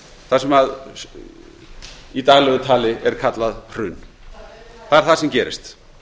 það sem í daglegu tali er kallað hrun það er það sem gerist